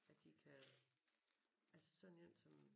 At de kan altså sådan en som